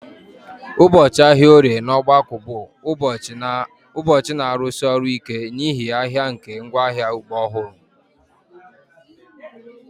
Ụbọchị ahịa Orie na obgaku bụ ụbọchị na-arụsi ọrụ ike n'ihi ahịa nke ngwaahịa ugbo ọhụrụ